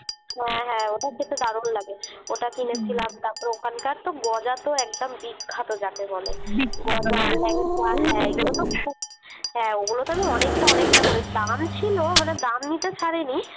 হ্যাঁ হ্যাঁ ওটা খেতে দারুন লাগে ওটা কিনেছিলাম তারপরে ওখানকার তো গজা তো একদম বিখ্যাত যাকে বলে। বিখ্যাত হ্যাঁ হ্যাঁ ওগুলো তো আমি অনেকটা অনেকটা করে দাম ছিলো মানে দাম নিতে ছাড়েনি।